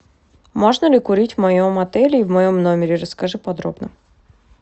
можно ли курить в моем отеле и в моем номере расскажи подробно